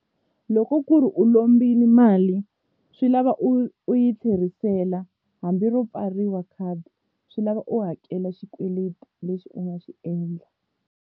Loko ku ri u lombile mali swi lava u yi tlherisela hambi ro pfariwa khadi swi lava u hakela xikweleti lexi u nga xi endla.